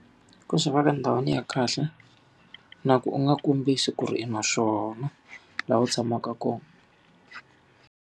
Ku swi va ka ndhawini ya kahle, na ku u nga kombisi ku ri i na swona laha u tshamaka kona.